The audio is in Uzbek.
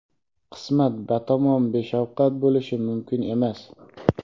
qismat batamom beshafqat bo‘lishi mumkin emas.